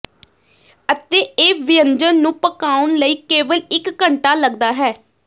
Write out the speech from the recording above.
ਅਤੇ ਇਹ ਵਿਅੰਜਨ ਨੂੰ ਪਕਾਉਣ ਲਈ ਕੇਵਲ ਇਕ ਘੰਟਾ ਲੱਗਦਾ ਹੈ